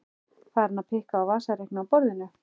Farin að pikka á vasareikni á borðinu.